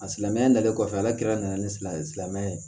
A silamɛya dalen kɔfɛ ala kira nana ni silamɛ silamɛya